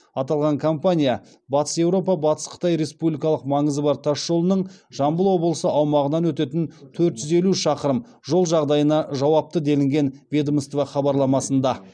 аталған компания батыс еуропа батыс қытай республикалық маңызы бар тас жолының жамбыл облысы аумағынан өтетін төрт жүз елу шақырым жол жағдайына жауапты делінген ведомство хабарламасында